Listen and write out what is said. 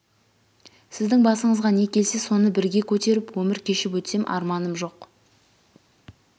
сіздің басыңызға не келсе соны бірге көтеріп өмір кешіп өтсем арманым жоқ